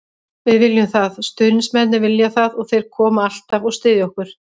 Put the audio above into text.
Við viljum það, stuðningsmennirnir vilja það og þeir koma alltaf og styðja okkur.